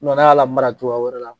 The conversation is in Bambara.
Mɛ n'a y'a labaara cogoya wɛrɛ la